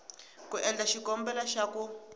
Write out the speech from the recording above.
ku endla xikombelo xa ku